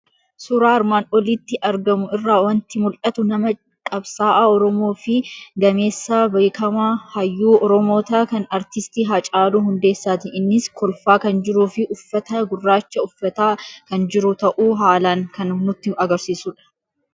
Suuraa armaan olitti argamu irraa waanti mul'atu; nama qabsaa'aa Oromoofi gameessa beekamaa hayyuu oromoota kan artistii Haacaaluu Hundeessaati. Innis kolfaa kan jiruufi uffata gurraacha uffataa kan jiru ta'uu haalan kan nutti agarsiisudha.